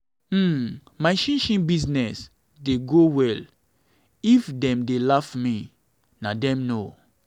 um my chin chin chin business dey go well if um dem dey um laugh me na dem know.